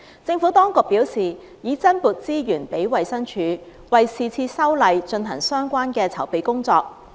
政府當局表示，已增撥資源給衞生署，為是次修例進行相關的籌備工作。